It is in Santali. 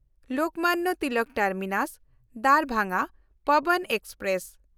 ᱞᱳᱠᱢᱟᱱᱱᱚ ᱛᱤᱞᱚᱠ ᱴᱟᱨᱢᱤᱱᱟᱥ–ᱫᱟᱨᱵᱷᱟᱝᱜᱟ ᱯᱚᱵᱚᱱ ᱮᱠᱥᱯᱨᱮᱥ